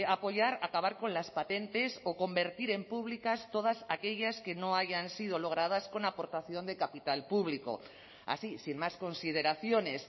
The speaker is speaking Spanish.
apoyar acabar con las patentes o convertir en públicas todas aquellas que no hayan sido logradas con aportación de capital público así sin más consideraciones